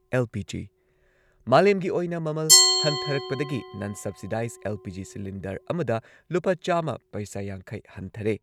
LPG.- ꯃꯥꯂꯦꯝꯒꯤ ꯑꯣꯏꯅ ꯃꯃꯜ ꯍꯟꯊꯔꯛꯄꯗꯒꯤ ꯅꯟ ꯁꯕꯁꯤꯗꯥꯏꯖ ꯑꯦꯜ.ꯄꯤ.ꯖꯤ. ꯁꯤꯂꯤꯟꯗꯔ ꯑꯃꯗ ꯂꯨꯄꯥ ꯆꯥꯝꯃ ꯄꯩꯁꯥ ꯌꯥꯡꯈꯩ ꯍꯟꯊꯔꯦ꯫